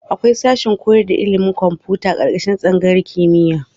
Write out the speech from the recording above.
Akwai sashen koyar da ilimin kwamfuta ƙarƙashin tsangayar kimiyya.